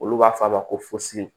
Olu b'a fɔ a ma ko fusi